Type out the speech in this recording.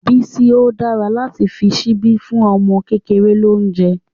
Bísí, ó dára láti fi ṣíbí fún ọmọ kékeré lóúnjẹ́.